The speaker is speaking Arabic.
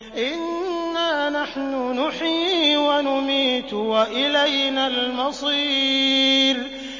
إِنَّا نَحْنُ نُحْيِي وَنُمِيتُ وَإِلَيْنَا الْمَصِيرُ